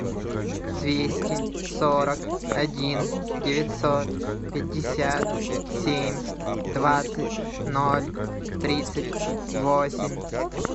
двести сорок один девятьсот пятьдесят семь двадцать ноль тридцать восемь